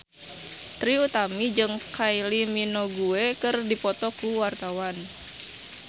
Trie Utami jeung Kylie Minogue keur dipoto ku wartawan